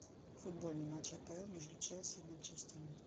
футбольный матч апл между челси и манчестером